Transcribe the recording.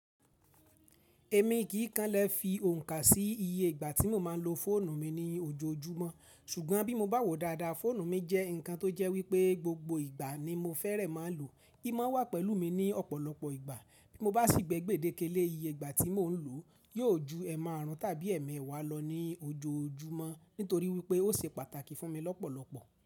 Èmi kì kanlẹ̀ fi òǹkà sí iye ìgbà tí mo máa ń lo fóònù mi ní ojoojúmọ́, ṣùgbọ́n bí mo bá wò dadá, fóònù mi jẹ́ ǹkan tó jẹ́ wípé gbogbo ìgbà ni mo fẹ́rẹ̀ máa lò. Í mo wà pẹ̀lú mi ní ọ̀pọ̀lọpọ̀ ìgbà. Bí mo bá sì gbé gbèdéke lé iye ìgbà tí mò ń lò, yóò ju ẹ̀ márùn tàbí ẹ̀ mẹ́wàá lọ ní ojoojúmọ́ nítorí wípé ó ṣe pàtàkì fún mi lọ́pọ̀lọpọ̀